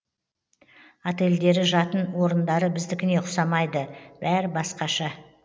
отельдері жатын орындары біздікіне ұқсамайды бәрі басқаша